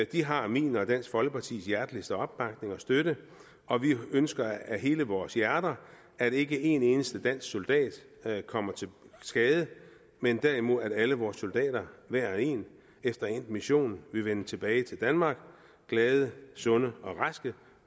de har min og dansk folkepartis hjerteligste opbakning og støtte og vi ønsker af hele vores hjerte at ikke en eneste dansk soldat kommer til skade men derimod at alle vores soldater hver og en efter endt mission vil vende tilbage til danmark glade og sunde og raske